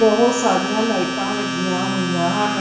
ਬਹੁਤ ਸਾਰੀਆਂ ਲਾਈਟਾਂ ਲੱਗੀਆਂ ਹੋਈਆਂ ਹਨ।